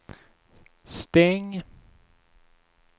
stäng